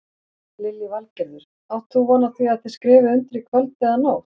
Lillý Valgerður: Átt þú von á því að þið skrifið undir í kvöld eða nótt?